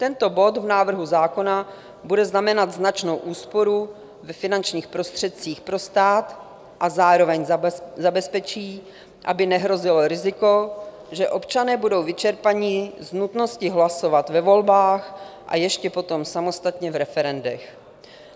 Tento bod v návrhu zákona bude znamenat značnou úsporu ve finančních prostředcích pro stát a zároveň zabezpečí, aby nehrozilo riziko, že občané budou vyčerpaní z nutnosti hlasovat ve volbách a ještě potom samostatně v referendech.